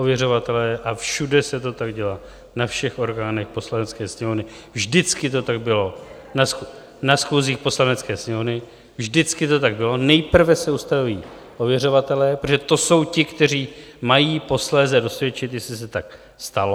Ověřovatelé, a všude se to tak dělá, na všech orgánech Poslanecké sněmovny, vždycky to tak bylo na schůzích Poslanecké sněmovny, vždycky to tak bylo, nejprve se ustaví ověřovatelé, protože to jsou ti, kteří mají posléze dosvědčit, jestli se tak stalo.